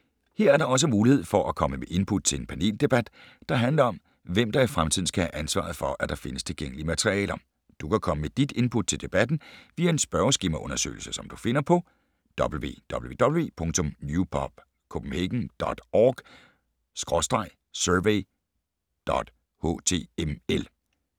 Her er der også mulighed for at komme med input til en paneldebat, der handler om, hvem der i fremtiden skal have ansvaret for, at der findes tilgængelige materialer. Du kan komme med dit input til debatten via en spørgeskemaundersøgelse, som du finder på: www.newpubcph.org/survey.html